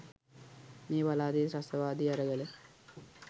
මේ පළාතේ ත්‍රස්තවාදී අරගල